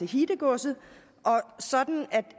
hittegods sådan